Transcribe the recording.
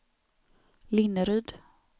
Linneryd